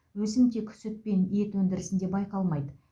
өсім тек сүт пен ет өндірісінде байқалмайды